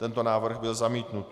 Tento návrh byl zamítnut.